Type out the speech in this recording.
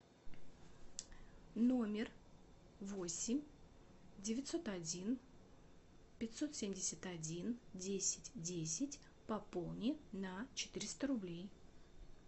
номер восемь девятьсот один пятьсот семьдесят один десять десять пополни на четыреста рублей